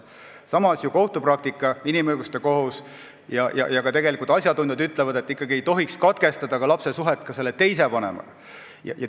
Samas, inimõiguste kohus ja asjatundjad ütlevad, et ei tohiks ikkagi katkestada ka lapse suhet teise vanemaga.